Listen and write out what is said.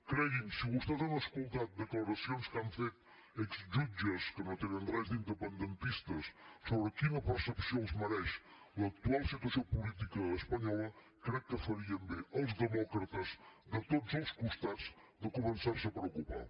cregui’m si vostès han escoltat declaracions que han fet exjutges que no tenen res d’independentistes sobre quina percepció els mereix l’actual situació política espanyola crec que farien bé els demòcrates de tots els costats de començar se a preocupar